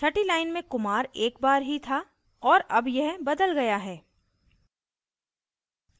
छठी line में kumar एक बार ही था और अब यह बदला गया है